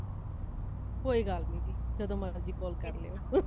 ਕੋਈ ਗੱਲ ਨਹੀਂ ,ਜਦੋ ਮਰਜੀ call ਕਰ ਲਹਿਓ